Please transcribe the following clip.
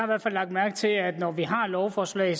hvert fald lagt mærke til at når vi har lovforslag